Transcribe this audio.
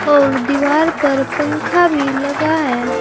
और दीवार पर पंखा भी लगा है।